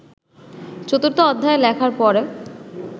চতুর্থ অধ্যায় লেখার পর